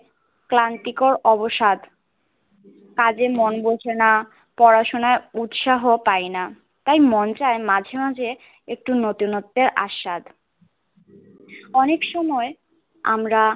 ক্রান্তি কর অবসাদ কাজে মন বসে না পড়াশোনায় ঊষা পাই না তাই মন চাই মাঝেমাঝে একটু নতুন নোতে আসাদ অনেক সময় আমরা